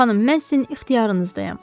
Xanım, mən sizin ixtiyarınızdayam.